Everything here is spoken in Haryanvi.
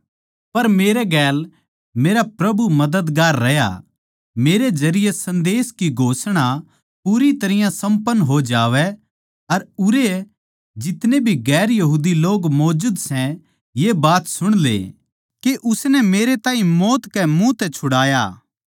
पर मेरे गेल मेरा प्रभु मददगार रहया मेरे जरिये सन्देस की घोषणा पूरी तरियां सम्पन्न हो जावै अर उरै जितने भी गैर यहूदी लोग मौजूद सै ये बात सुण ले के उसनै मेरे ताहीं मौत के मुँह म्ह तै छुड़ाया